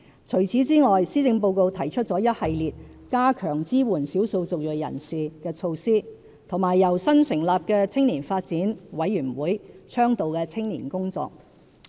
除此之外，施政報告提出了一系列加強支援少數族裔人士的措施和由新成立的青年發展委員會倡導的青年工作。